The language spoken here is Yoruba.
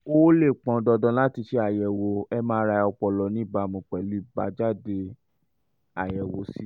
um ó um lè pọn dandan láti ṣe àyẹ̀wò mri ọpọlọ ní ìbámu pẹ̀lú àbájáde àyẹ̀wò ct um